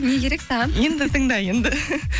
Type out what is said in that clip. не керек саған енді тыңда енді